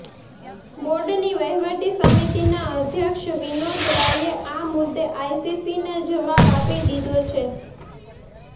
બોર્ડની વહિવટી સમિતિના અધ્યક્ષ વિનોદ રાયે આ મુદ્દે આઈસીસીને જવાબ આપી દીધો છે